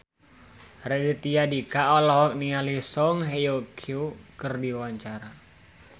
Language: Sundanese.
Raditya Dika olohok ningali Song Hye Kyo keur diwawancara